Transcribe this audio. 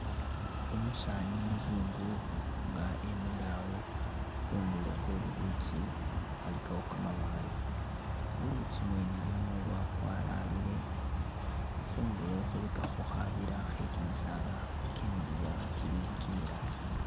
Umusaani umuzungu nga emile awo khundulo khwe lulutsi ali kawo kamabaale, ulutsi mwene lunu lwakwalalile, khundulo khulikakho khabiila khe kimisaala ikye miliya kili kimilaayi.